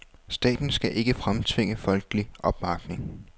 Staten skal ikke fremtvinge folkelig opbakning.